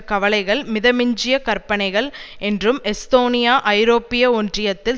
கவலைகள் மிதமிஞ்சிய கற்பனைகள் என்றும் எஸ்தோனியா ஐரோப்பிய ஒன்றியத்தில்